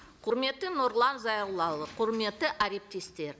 құрметті нұрлан зайроллаұлы құрметті әріптестер